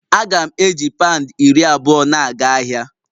Aga m eji pound iri abụọ na-aga ahịa